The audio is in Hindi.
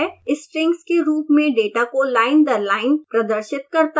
strings के रूप में डेटा को लाइन दर लाइन प्रदर्शित करता है